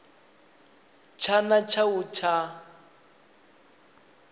tshana tsha u a tsha